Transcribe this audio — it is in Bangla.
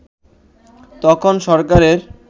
তখন সরকারের